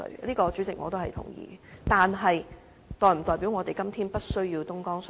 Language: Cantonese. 但是，這是否代表我們今天不需要東江水呢？